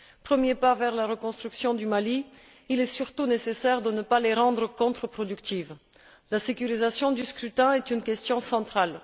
Premier pas vers la reconstruction du Mali, il est surtout nécessaire de ne pas les rendre contreproductives. La sécurisation du scrutin est une question centrale.